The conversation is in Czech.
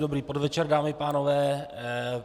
Dobrý podvečer, dámy a pánové.